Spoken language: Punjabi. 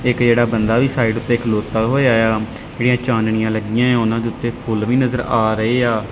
ਇੱਕ ਜਿਹੜਾ ਬੰਦਾ ਵੀ ਸਾਈਡ ਤੇ ਖਲੋਤਾ ਹੋਇਆ ਜਿਹੜੀਆਂ ਚਾਨਣੀਆਂ ਲੱਗੀਆਂ ਉਹਨਾਂ ਦੇ ਉੱਤੇ ਫੁੱਲ ਵੀ ਨਜ਼ਰ ਆ ਰਹੇ ਆ।